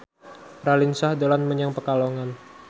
Raline Shah dolan menyang Pekalongan